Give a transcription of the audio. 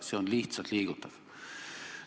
See on lihtsalt liigutav.